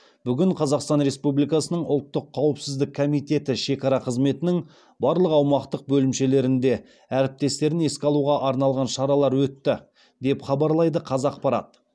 бүгін қазақстан республикасының ұлттық қауіпсіздік комитеті шекара қызметінің барлық аумақтық бөлімшелерінде әріптестерін еске алуға арналған шаралар өтті деп хабарлайды қазақпарат